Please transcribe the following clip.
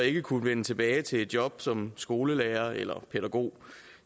ikke kunne vende tilbage til et job som skolelærer eller pædagog